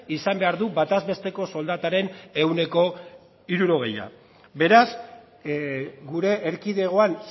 izan behar du bataz besteko soldataren ehuneko hirurogeia beraz gure erkidegoan